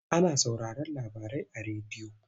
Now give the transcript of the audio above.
Ana sauraron labarai a rediyo.